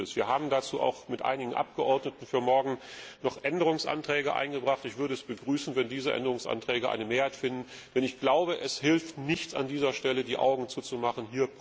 Wir haben dazu auch mit einigen Abgeordneten für morgen noch Änderungsanträge eingebracht. Ich würde es begrüßen, wenn diese Änderungsanträge eine Mehrheit finden. Ich glaube, es hilft nicht, an dieser Stelle die Augen zuzumachen.